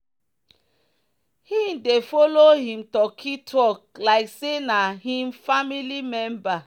he dey follow him turkey talk like say na him family member.